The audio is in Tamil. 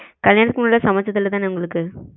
கல்யாணத்துக்கு முன்னாட சமச்சது இல்ல தான உங்களுக்கு